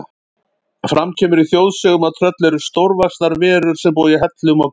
Fram kemur í þjóðsögum að tröll eru stórvaxnar verur sem búa í hellum og gljúfrum.